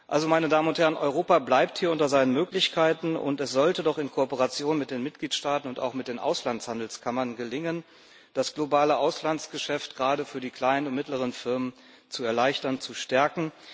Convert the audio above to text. Also, Europa bleibt hier unter seinen Möglichkeiten, und es sollte doch in Kooperation mit den Mitgliedstaaten und auch mit den Auslandshandelskammern gelingen, das globale Auslandsgeschäft gerade für die kleinen und mittleren Firmen zu erleichtern, zu stärken.